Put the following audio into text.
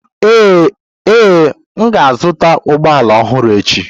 Ee, m ga-azụta ụgbọ ala ọhụrụ echi.